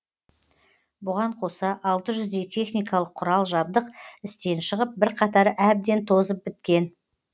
бұған қоса алты жүздей техникалық құрал жабдық істен шығып бірқатары әбден тозып біткен